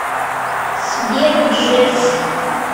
сбер джефф